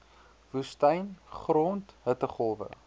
woestyn grond hittegolwe